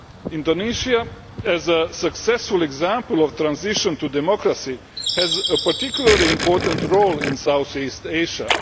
Indonesia, as a successful example of transition to democracy, has a particularly important role in South East Asia.